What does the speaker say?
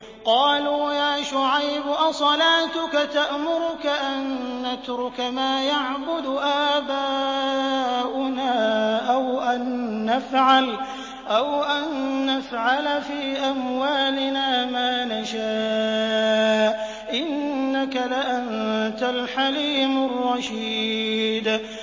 قَالُوا يَا شُعَيْبُ أَصَلَاتُكَ تَأْمُرُكَ أَن نَّتْرُكَ مَا يَعْبُدُ آبَاؤُنَا أَوْ أَن نَّفْعَلَ فِي أَمْوَالِنَا مَا نَشَاءُ ۖ إِنَّكَ لَأَنتَ الْحَلِيمُ الرَّشِيدُ